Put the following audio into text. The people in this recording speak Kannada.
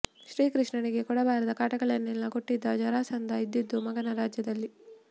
ಶ್ರೀ ಕೃಷ್ಣನಿಗೆ ಕೊಡಬಾರದ ಕಾಟಗಳನ್ನೆಲ್ಲಾ ಕೊಟ್ಟಿದ್ದ ಜರಾಸಂಧ ಇದ್ದಿದ್ದು ಮಗದ ರಾಜ್ಯದಲ್ಲಿ